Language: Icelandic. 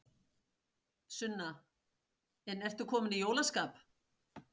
Sunna: En ertu kominn í jólaskap?